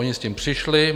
Ony s tím přišly.